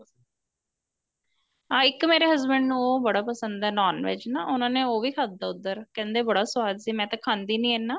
ਹਾਂ ਇੱਕ ਮੇਰੇ husband ਨੂੰ ਉਹ ਬੜਾ ਪਸੰਦ ਏ NON VEG ਨਾ ਉਹਨਾ ਨੇ ਉਹ ਵੀ ਖਾਦਾ ਉੱਧਰ ਕਹਿੰਦੇ ਬੜਾ ਸਵਾਦ ਸੀ ਮੈਂ ਤਾਂ ਖਾਂਦੀ ਨੀਂ ਇੰਨਾ